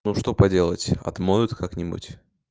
ну что поделать отмоют как-нибудь